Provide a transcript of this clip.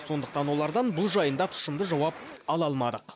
сондықтан олардан бұл жайында тұшымды жауап ала алмадық